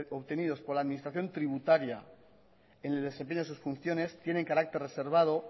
obtenidos por la administración tributaria en el desempeño de sus funciones tienen carácter reservado